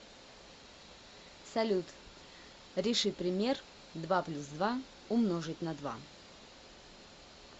салют реши пример два плюс два умножить на два